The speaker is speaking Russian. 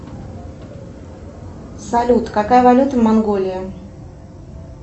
салют какая валюта в монголии